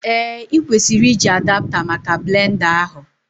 Ee, ị kwesịrị iji Adapta maka blend a ahụ